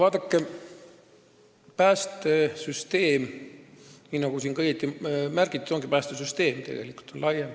Vaadake, päästesüsteem, nagu siin täna juba märgitud on, on tegelikult lai süsteem.